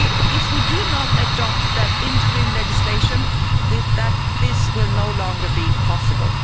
If we do not adopt that interim legislation, this will no longer be possible.